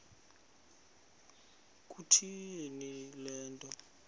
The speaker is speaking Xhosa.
kutheni le nto